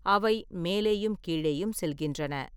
அவை மேலேயும் கீழேயும் செல்கின்றன.